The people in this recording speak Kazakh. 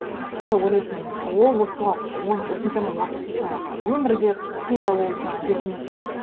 сонда ойлайтынмын ол осы соған осыншама уақыт жаңағы өмірі де қиындау болды жаңағы жетім өсті